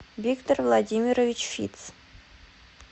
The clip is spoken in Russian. виктор владимирович фитц